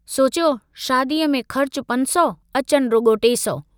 सोचियो शादीअ में खर्च पंज सौ अचनि रुगो टे सौ।